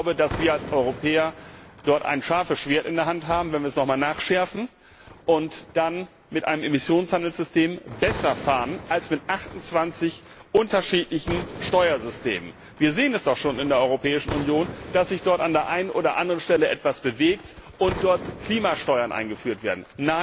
Ich glaube, dass wir als Europäer dort ein scharfes Schwert in der Hand haben, wenn wir es noch einmal nachschärfen, und dann mit einem Emissionshandelssystem besser fahren als mit 28 unterschiedlichen Steuersystemen. Wir sehen es doch schon in der Europäischen Union, dass sich dort an der einen oder anderen Stelle etwas bewegt und dort Klimasteuern eingeführt werden.